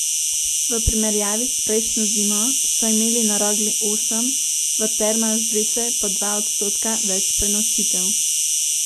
V primerjavi s prejšnjo zimo so imeli na Rogli osem, v Termah Zreče pa dva odstotka več prenočitev.